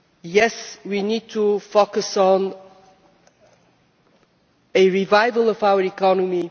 Yes, we need to focus on a revival of our economy.